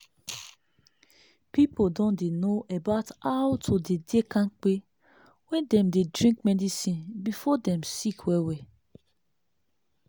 people don dey know about how to dey dey kampe when dem dey drink medicine before dem sick well well